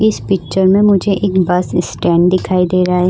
इस पिक्चर में मुझे एक बस स्टैंड दिखाई दे रहा है।